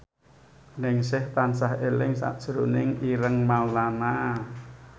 Ningsih tansah eling sakjroning Ireng Maulana